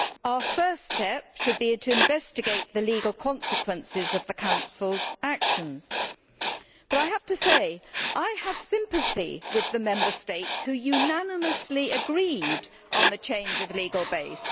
Our first step should be to investigate the legal consequences of the Council's actions, but I have sympathy with the Member States who unanimously agreed on the change of legal base.